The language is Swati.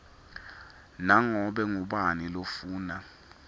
nanobe ngubani lofuna